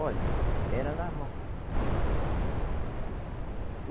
Olhe, era na roça.